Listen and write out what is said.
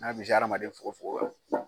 N'a bɛ hadamaden fogo fogo kan.